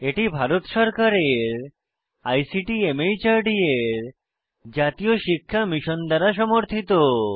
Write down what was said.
এটি ভারত সরকারের ICT MHRD এর জাতীয় শিক্ষা মিশন দ্বারা সমর্থিত